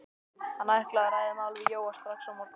Hann ætlaði að ræða málin við Jóa strax á morgun.